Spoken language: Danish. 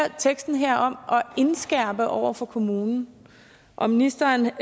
teksten her om at indskærpe over for kommunen og ministeren